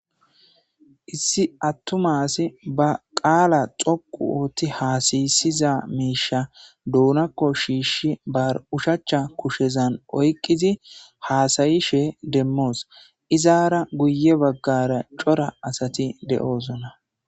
Issi attuma asi ba qaala xoqqu ootti haasayissiza miishshi ba duunakko shiishi ba oshachcha kushezan oyqqidi haasyishe demmos. Izara guyye baggara cora asati de'osona.